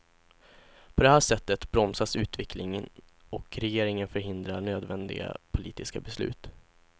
På det här sättet bromsas utvecklingen och regeringen förhindrar nödvändiga politiska beslut.